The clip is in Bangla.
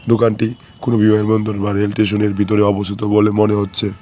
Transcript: দোকানটি কোনো বিমানবন্দর বা রেলস্টেশনের ভিতরে অবস্থিত বলে মনে হচ্ছে।